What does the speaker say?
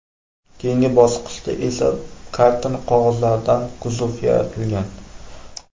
Keyingi bosqichda esa karton qog‘ozlaridan kuzov yaratilgan.